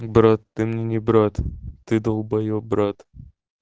брат ты мне не брат ты долбоёб брат